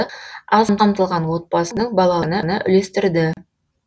аз қамтылған отбасының балаларына үлестірді